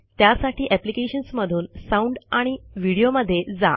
त्यासाठी अप्लिकेशन्स मधून sound and व्हिडिओमध्ये जा